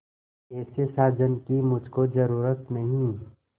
ऐसे साजन की मुझको जरूरत नहीं